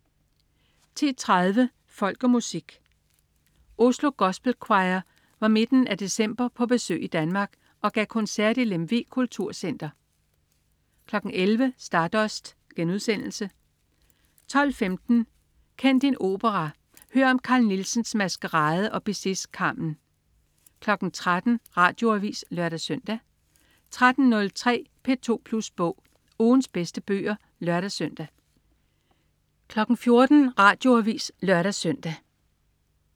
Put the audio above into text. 10.30 Folk og Musik. Oslo Gospel Choir var i midten af december på besøg i Danmark og gav koncert i Lemvig Kulturcenter 11.00 Stardust* 12.15 Kend din opera. Hør om Carl Nielsens Maskarade og Bizets Carmen 13.00 Radioavis (lør-søn) 13.03 P2 Plus Bog. Ugens bedste bøger (lør-søn) 14.00 Radioavis (lør-søn)